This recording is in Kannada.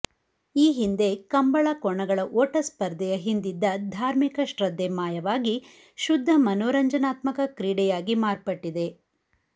ಈ ಹಿಂದೆ ಕಂಬಳ ಕೋಣಗಳ ಓಟ ಸ್ಪರ್ಧೆಯ ಹಿಂದಿದ್ದ ಧಾರ್ಮಿಕ ಶ್ರದ್ದೆ ಮಾಯವಾಗಿ ಶುದ್ದ ಮನೋರಂಜನಾತ್ಮಕ ಕ್ರೀಡೆಯಾಗಿ ಮಾರ್ಪಟ್ಟಿದೆ